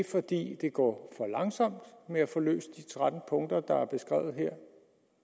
fordi det går for langsomt med at få løst de tretten punkter der er beskrevet her